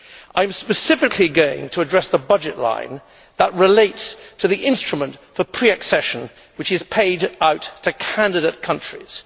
I am specifically going to address the budget line that relates to the instrument for pre accession that is paid out to candidate countries.